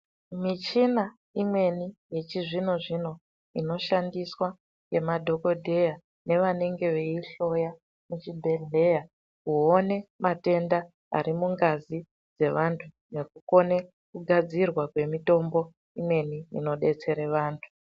Muchina imweni yechizvinozvino inoshandiswa nemadhokodheya nevanenge veihloya muzvibhehleya kuone matenda arimungazi dzevantu nekukone kugadzirwa kwemutombo imweni inobetsera vandu.